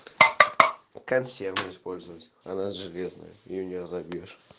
консервы использовать она железная и её не разобьёшь